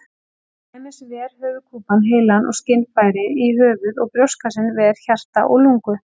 Til dæmis ver höfuðkúpan heilann og skynfæri í höfði og brjóstkassinn ver hjarta og lungu.